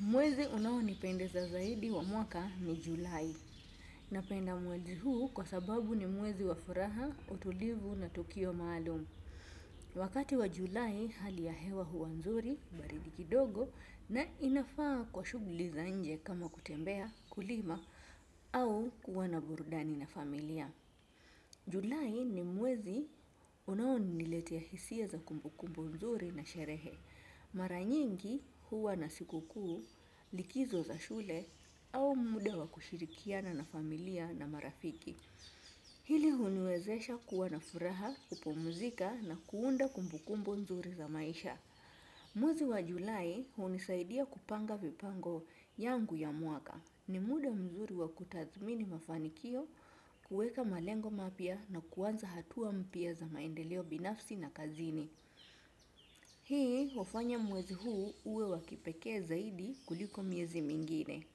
Mwezi unaonipendeza zaidi wa mwaka ni julai. Napenda mwezi huu kwa sababu ni mwezi wa furaha, utulivu na tukio maalumu. Wakati wa julai hali ya hewa huwa nzuri, baridi kidogo na inafaa kwa shughuli za nje kama kutembea, kulima au kuwa na burudani na familia. Julai ni mwezi unaoniniletea hisia za kumbukumbu nzuri na sherehe. Mara nyingi huwa na siku kuu likizo za shule au muda wa kushirikiana na familia na marafiki. Hili huniwezesha kuwa na furaha kupumzika na kuunda kumbukumbu nzuri za maisha. Mwezi wa julai hunisaidia kupanga vipango yangu ya mwaka. Ni muda mzuri wa kutathmini mafanikio, kuweka malengo mapya na kuanza hatua mpya za maendeleo binafsi na kazini. Hii wafanya mwezi huu uwe wa kipekee zaidi kuliko miezi mingine.